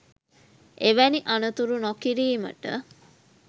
එවැනි අනතුරු නොකිරීමට